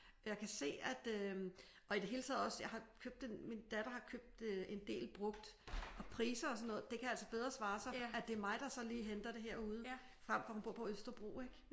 Jeg kan se at øh og i det hele taget også jeg har købt en min datter har købt en del brugt og priser og sådan noget det kan altså bedre svare sig at er mig der så lige henter det herude frem for hun bor på Østerbro ik?